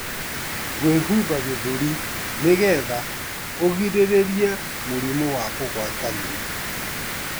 Gwĩhumba gĩthũri nĩgetha ũgirĩrĩrie mũrimũ wa kũgwatanio.